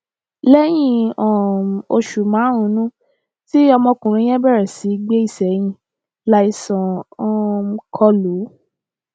lẹyìn um oṣù márùnún tí ọmọkùnrin yẹn bẹrẹ sí í gbé ìsẹyìn láìsàn um kọ lù ú